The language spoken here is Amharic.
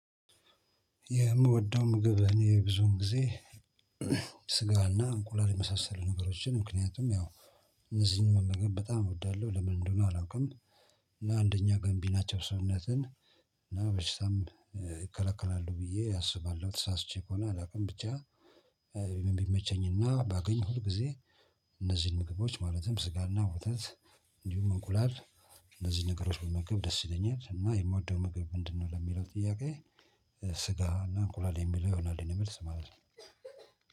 የምወደው ምግብ እኔ ብዙውን ጊዜ ስጋና እንቁላል የመሳሰሉ ነገሮችን ምክንያቱም ያው እነዚህን መመገብ በጣም እወዳለሁ ለምን እንደሆነ አላውቅም። እና አንደኛ ገምቢ ናቸው ሰውነትን እና በሽታም ይከላከላሉ ብዬ አስባለሁ። ተሳስቼ ከሆነ አላውቅም። ብቻ ኢቭን ቢመቸኝና ባገኝ ሁልጊዜ እነዚህን ምግቦች ማለትም ስጋና ወተት እንዲሁም እንቁላል እነዚህ ነገሮች ብመገብ ደስ ይለኛል። እና የምወደው ምግብ ምንድነው? ለሚለው ጥያቄ ስጋ እና እንቁላል የሚለው ይሆናል የኔ መልስ ማለት ነው